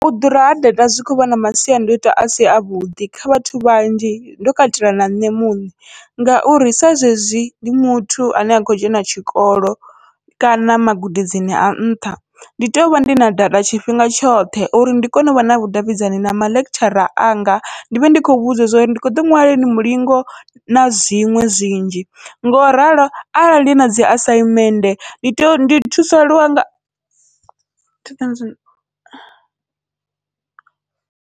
U ḓura ha data zwi khou vha na masiandaitwa asi avhuḓi kha vhathu vhanzhi ndo katela na nṋe muṋe, ngauri sa zwezwi ndi muthu ane a kho dzhena tshikolo kana magudedzini a nṱha ndi tovha ndi na data tshifhinga tshoṱhe, uri ndi kone uvha na vhudavhidzani na maḽekitshara anga ndi vhe ndi khou vhudza zwa uri ndi kho ḓo ṅwala lini mulingo na zwiṅwe zwinzhi, ngo ralo arali nadzi asaimenthe ndi tovha ndi thusalea nga .